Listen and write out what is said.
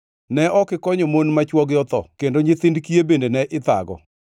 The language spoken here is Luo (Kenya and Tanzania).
Ne ok ikonyo mon ma chwogi otho kendo nyithind kiye bende ne ithago.